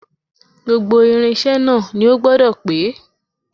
Gbogbo irinṣẹ́ náà ni ó gbọ́dọ̀ pé